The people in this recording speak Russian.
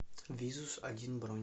визус один бронь